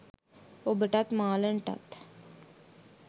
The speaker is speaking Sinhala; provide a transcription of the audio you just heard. ඔබටත් මාලන්ටත්